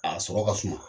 A sɔrɔ ka suma